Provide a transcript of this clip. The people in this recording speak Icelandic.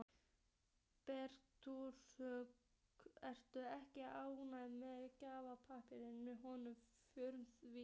Bergbúarnir eru ekki ánægðir með galdrapárið í honum föður þínum.